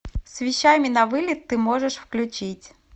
с вещами на вылет ты можешь включить